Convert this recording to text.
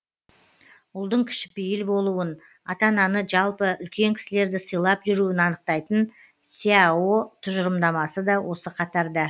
ұлдың кішіпейіл болуын ата ананы жалпы үлкен кісілерді сыйлап жүруін анықтайтын сяо тұжырымдамасы да осы қатарда